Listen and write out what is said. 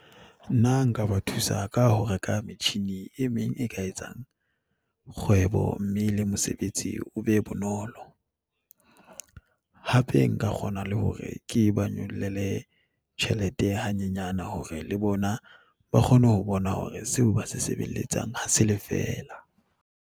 Nna nka ba thusa ka ho reka metjhini e meng e ka etsang kgwebo, mme le mosebetsi o be bonolo. Hape nka kgona le hore ke ba nyollele tjhelete hanyenyane hore le bona ba kgone ho bona hore seo ba se sebeletsang ha se lefeela.